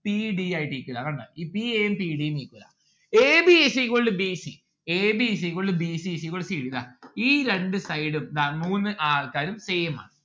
p d ആയിട്ട് equal ആണ് കണ്ടോ ഈ p a ഉം p d ഉം equal ആണ് a b is equal to b c. a b is equal to b c is equal to c d ദാ ഈ രണ്ട് side ഉം ദാ മൂന്ന് ആൾക്കാരും same ആണ്